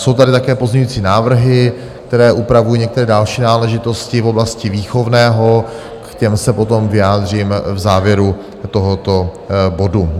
Jsou tady také pozměňující návrhy, které upravují některé další náležitosti v oblasti výchovného, k těm se potom vyjádřím v závěru tohoto bodu.